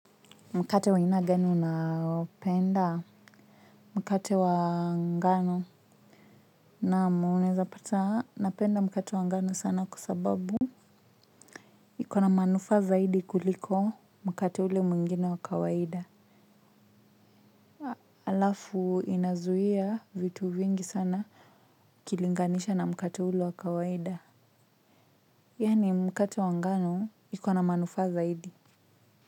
Mkate wa aina gani unaopenda mkate wa ngano. Naam unaeza pata napenda mkate wa ngano sana kwa sababu ikona manufaa zaidi kuliko mkate ule mwingine wa kawaida. Alafu inazuia vitu vingi sana ukilinganisha na mkate ule wa kawaida yaani mkate wa ngano ikona manufaa zaidi.